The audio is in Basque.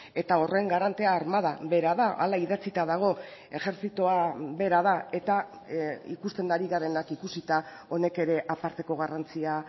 eta horren garantea armada bera da hala idatzita dago ejertzitoa bera da eta ikusten ari garenak ikusita honek ere aparteko garrantzia